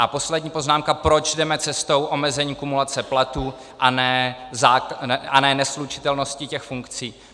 A poslední poznámka, proč jdeme cestou omezení kumulace platů a ne neslučitelností těch funkcí.